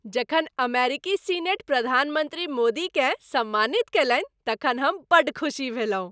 जखन अमेरिकी सीनेट प्रधानमन्त्री मोदीकेँ सम्मानित कयलनि तखन हम बड्ड खुसी भेलहुँ।